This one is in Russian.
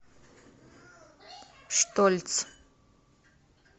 штольц